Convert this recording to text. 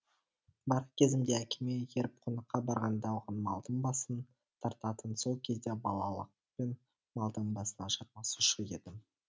бала кезімде әкеме еріп қонаққа барғанда оған малдың басын тартатын сол кезде балалықпен малдың басына жармасушы едім